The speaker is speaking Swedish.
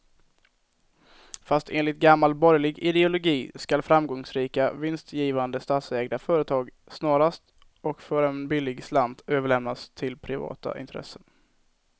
Fast enligt gammal borgerlig ideologi ska framgångsrika, vinstgivande statsägda företag snarast och för en billig slant överlämnas till privata intressen.